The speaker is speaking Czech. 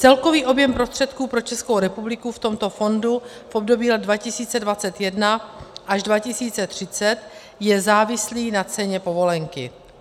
Celkový objem prostředků pro Českou republiku v tomto fondu v období let 2021 až 2030 je závislý na ceně povolenky.